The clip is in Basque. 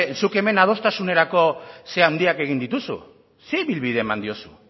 zuk hemen adostasunerako zera handiak egin ditugu ze ibilbide eman diozu